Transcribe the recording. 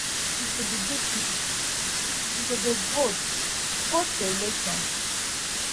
if you be good citizen you go dey vote vote for election